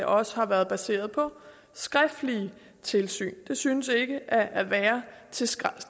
også har været baseret på skriftlige tilsyn det synes ikke at være